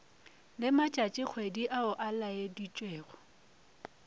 le matšatšikgwedi ao a laeditšwego